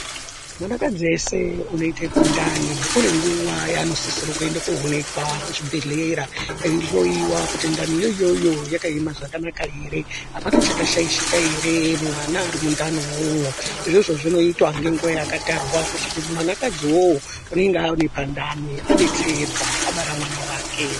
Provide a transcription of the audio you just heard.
Mwanakadzi eshe anoite pandani anenguwa yanosisire kuende koonekwa kuchibhedhlera. Eihloiwa kuti ndaniyo iyoyo yakaema zvakanaka ere. Hapana chakashaishika ere mumwana ari mundani umwomwo . Izvozvo zvinotwa ngenguwa yakatarwa. Kuti mwanakadzi wowo unenge aoneka ndani adetserwa abara mwana wake.